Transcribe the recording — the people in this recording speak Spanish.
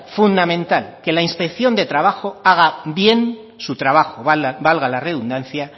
fundamental que la inspección de trabajo haga bien su trabajo valga la redundancia